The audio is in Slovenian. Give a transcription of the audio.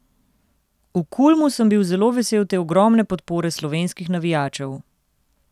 V Kulmu sem bil zelo vesel te ogromne podpore slovenskih navijačev.